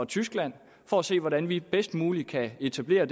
tyskland for at se hvordan vi bedst muligt kan etablere